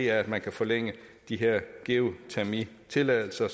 er at man kan forlænge de her geotermitilladelser